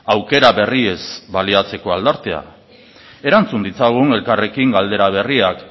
aukera berriez baliatzeko aldartea erantzun ditzagun elkarrekin galdera berriak